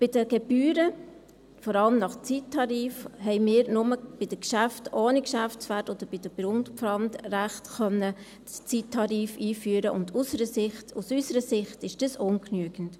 Bei den Gebühren – vor allem nach Zeittarif – haben wir nur bei den Geschäften ohne Geschäftswert oder bei den Grundpfandrechten den Zeittarif einführen können, und aus unserer Sicht ist dies ungenügend.